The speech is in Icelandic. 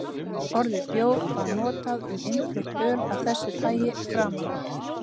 Orðið bjór var notað um innflutt öl af þessu tagi framan af.